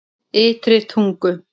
Ytri Tungu